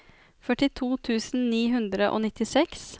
førtito tusen ni hundre og nittiseks